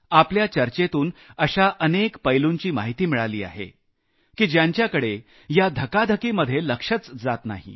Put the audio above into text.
आपल्या चर्चेतून अशा अनेक पैलुंची माहिती मिळाली आहे की ज्यांच्याकडे या धकाधकीमध्ये लक्षच जात नाही